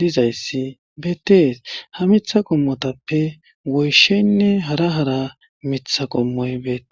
dizayssi beettees. Ha mitha qommotappe goysheynne hara hara mitha qommoy beettees.